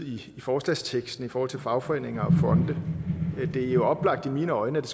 i forslagsteksten i forhold til fagforeninger og fonde det er jo oplagt i mine øjne at det